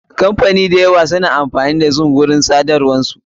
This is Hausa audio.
Kamfanoni masu yawa suna amfani da zoom a wata hanyar tsadarwa sakanin su.